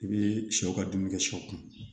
I bɛ sɛw ka dumuni kɛ sɔ kun